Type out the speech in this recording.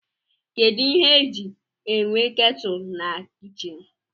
Kedụ ihe e ji enwe ketụl na kichin?